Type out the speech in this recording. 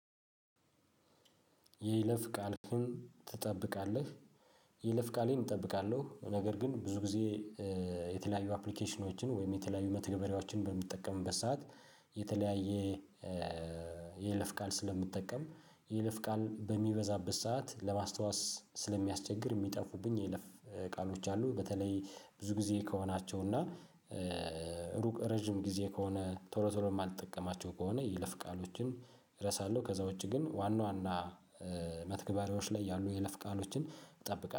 የይለፍ ቃልህን ትጠብቃለህ? የይለፍ ቃሌን እጠብቃለሁ ነገር ግን ብዙ ጊዜ። የተለያዩ አፕሊኬሽኖችን ወይም የተለያዩ መተገበሪያዎችን በምጠቀምበት ሰዓት። የተለያየ የይለፍ ቃል ስለምጠቀም የይለፍ ቃል በሚበዛበት ሰዓት ለማስታወስ ስለሚያስቸግር የሚጠፉብኝ የለፍ ቃሎች አሉ። በተለይ ብዙ ጊዜ ከሆናቸው እና ሩቅ ረጅም ጊዜ ከሆነ ቶሎ ቶሎ የማልጠቀማቸው ከሆነ ይለፍ ቃሎችን እረሳለሁ። ከዛ ውጪ ግን ዋና ዋና መተግበሪያዎች ላይ ያሉ የለፍ ቃሎችን እጠብቃለው